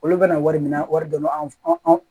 Olu bɛna wari minɛ wari don anw